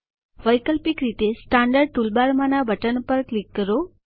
વૈકલ્પિક રીતે સ્ટેન્ડર્ડ ટુલબારમાના બટન પર ક્લિક કરો